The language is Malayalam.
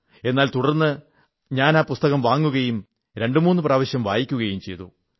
എന്നാൽ തുടർന്ന് ഞാൻ ആ പുസ്തകം വാങ്ങുകയും രണ്ടുമൂന്നു പ്രാവശ്യം വായിക്കുകയും ചെയ്തു